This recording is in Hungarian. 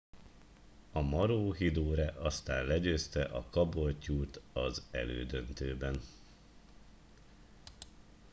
a maroochydore aztán legyőzte a caboolture t az elődöntőben